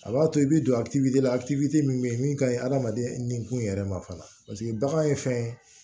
A b'a to i bɛ don a la a min bɛ ye min ka ɲi hadamaden nikun yɛrɛ ma fana paseke bagan ye fɛn ye